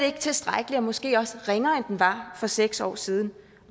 ikke tilstrækkelig og måske også ringere end den var for seks år siden